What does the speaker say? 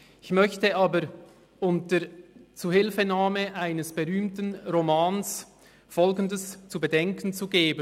Ich möchte aber unter Zuhilfenahme eines berühmten Romans Folgendes zu bedenken zu geben.